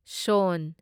ꯁꯣꯟ